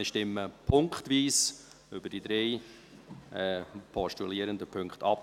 Wir stimmen punktweise über die drei postulierenden Punkte ab.